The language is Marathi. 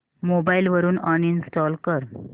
मोबाईल वरून अनइंस्टॉल कर